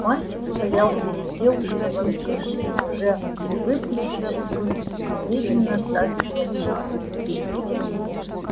мальчик стоял перед девушкой-вампиршей уже выпустившей клыки и медленно стаскивал шарф